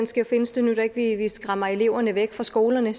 skal findes det nytter ikke at vi skræmmer eleverne væk fra skolerne